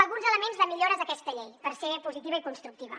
alguns elements de millores d’aquesta llei per ser positiva i constructiva